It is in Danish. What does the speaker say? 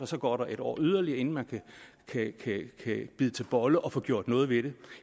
så går et år yderligere inden man kan bide til bolle og få gjort noget ved det